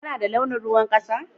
Ka na da launin ruwan kasa?